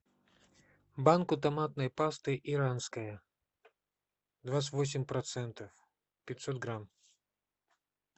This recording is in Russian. банку томатной пасты иранская двадцать восемь процентов пятьсот грамм